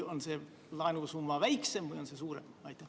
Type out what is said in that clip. Või on see laenusumma väiksem või suurem?